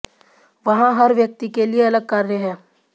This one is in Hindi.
वहाँ हर व्यक्ति के लिए अलग कार्य हैं